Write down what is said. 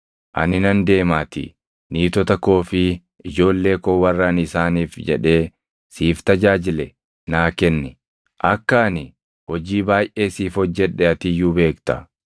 Ani nan deemaatii niitota koo fi ijoollee koo warra ani isaaniif jedhee siif tajaajile naa kenni. Akka ani hojii baayʼee siif hojjedhe ati iyyuu beekta.”